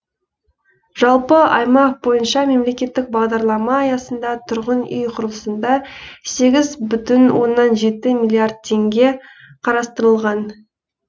жалпы аймақ бойынша мемлекеттік бағдарлама аясында тұрғын үй құрылысына сегіз бүтін оннан жеті миллиард теңге қарастырылған